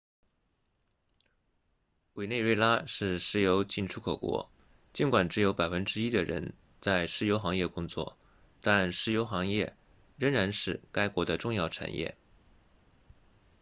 委内瑞拉是石油净出口国尽管只有百分之一的人在石油行业工作但石油行业仍然是该国的重要产业